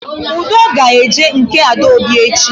Ude ga-eji nke Adaobi echi